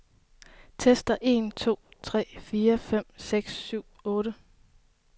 Tester en to tre fire fem seks syv otte.